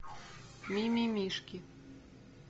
мимимишки